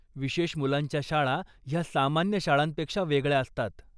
विशेष मुलांच्या शाळा ह्या सामान्य शाळांपेक्षा वेगळ्या असतात.